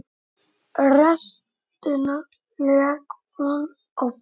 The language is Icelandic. Restina lék hún á pari.